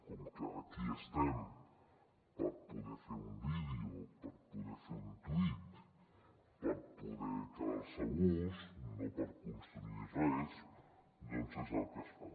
com que aquí estem per poder fer un vídeo per poder fer un tuit per poder quedar se a gust no per construir res doncs és el que es fa